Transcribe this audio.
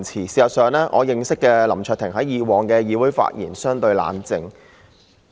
事實上，我認識的林卓廷議員以往在議會的發言相對冷靜。